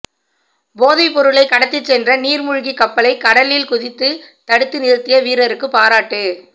போதைப் பொருளை கடத்திச் சென்ற நீர்மூழ்கி கப்பலை கடலில் குதித்து தடுத்து நிறுத்திய வீரருக்கு பாராட்டு